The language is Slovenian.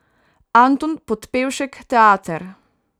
Anton Podbevšek Teater.